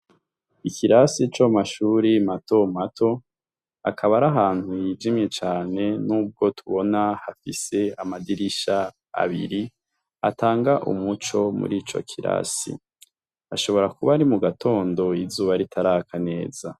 Ikrasi co mu mashuri matomato hakaba ari ahantu hijimye cane n'ubwo tubona hafise amadirisha abiri atanga umuco murico kirasi ashobora kuba ari mu gatondo izuba ritaraka neza.